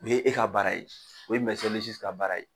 U ye e ka baara ye, o ye ka baara ye.